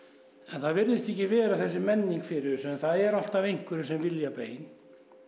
það virðist ekki vera að það sé menning fyrir þessu en það eru alltaf einhverjir sem vilja bein